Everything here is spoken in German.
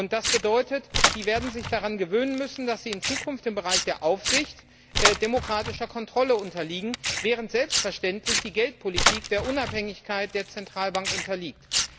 Das bedeutet Die werden sich daran gewöhnen müssen, dass sie in Zukunft im Bereich der Aufsicht demokratischer Kontrolle unterliegen, während selbstverständlich die Geldpolitik der Unabhängigkeit der Zentralbank unterliegt.